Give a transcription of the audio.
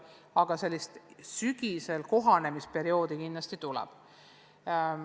Aga selline kohanemisperiood sügisel kindlasti tuleb.